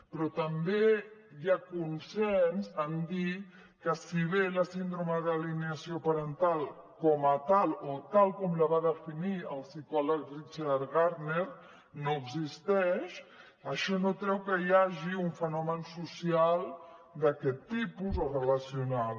però també hi ha consens en dir que si bé la síndrome d’alineació parental com a tal o tal com la va definir el psicòleg richard gardner no existeix això no treu que hi hagi un fenomen social d’aquest tipus o relacional